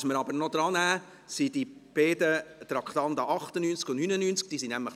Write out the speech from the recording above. Was wir aber noch drannehmen, sind die beiden Traktanden 98 und 99.